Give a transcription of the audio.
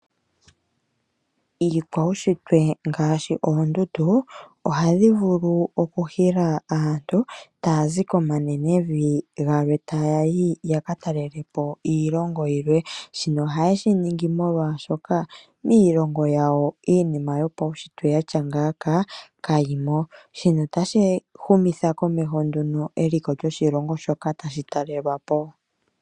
Iikwaushitwe ngaashi oondundu ohadhi vulu okuhila aantu taa zi komanenevi galwe taya yi yaka talelepo iilongo yilwe. Shino ohaye shi ningi molwaashoka miilongo yawo iinima yopaushitwe ya tya ngaaka kayimo. Shino otashi humitha komeho nduno eliko lyoshilongo shoka tashi talelwa po.